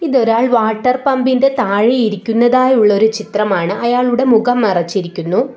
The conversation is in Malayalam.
ഇതൊരാൾ വാട്ടർ പമ്പിന്റെ താഴെ ഇരിക്കുന്നതായുളൊരു ചിത്രമാണ് അയാളുടെ മുഖം മറച്ചിരിക്കുന്നു.